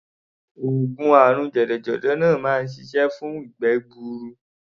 Oògùn àrùn jẹ̀dọ̀jẹ̀dọ̀ náà máa ń ṣiṣẹ́ fún ìgbẹ́ gbuuru.